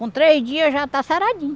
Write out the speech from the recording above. Com três dias já está saradinho.